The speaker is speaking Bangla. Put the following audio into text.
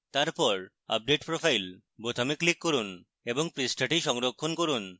তারপর update profile বোতামে click করুন এবং পৃষ্ঠাটি সংরক্ষণ করুন